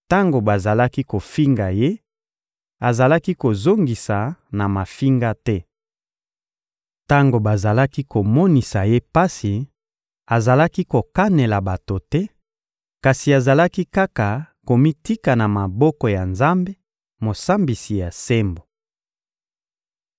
Tango bazalaki kofinga Ye, azalaki kozongisa na mafinga te. Tango bazalaki komonisa Ye pasi, azalaki kokanela bato te, kasi azalaki kaka komitika na maboko ya Nzambe, Mosambisi ya sembo.